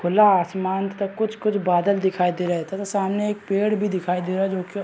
खुला आसमान तथा कुछ-कुछ बादल दिखाई दे रहे थे तथा सामने एक पेड़ भी दिखाई दे रहा जो की--